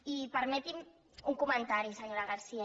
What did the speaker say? i permeti’m un comentari senyora garcía